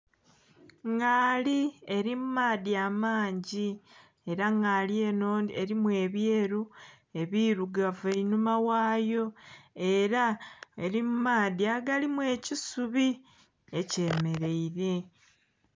Ngaali eli mu maadhi amangi ela ngaali eno elimu ebyeru, ebilugavu einhuma ghaayo, ela eli mu maadhi agalimu ekisubi ekyemeleire